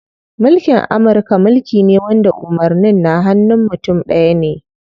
Mulkin Amurka mulki ne wanda umarnin na hanun mutum ɗaya ne.